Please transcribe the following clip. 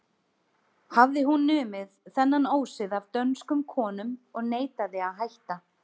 Hafði hún numið þennan ósið af dönskum konum og neitaði að hætta.